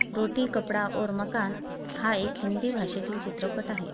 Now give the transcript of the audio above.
रोटी कपडा और मकान हा एक हिंदी भाषेतील चित्रपट आहे.